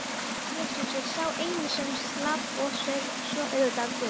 Jesús er sá eini sem slapp og svo auðvitað Guð.